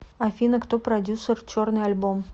афина кто продюссер черный альбом